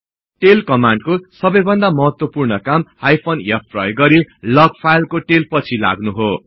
tail कमान्डको सबैभन्दा महत्वपूर्ण काम हाइफेन f प्रयोग गरि लग फाईलको टेल पछि लाग्नु हो